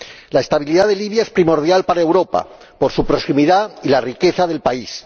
La estabilidad de Libia es primordial para Europa, por su proximidad y por la riqueza del país.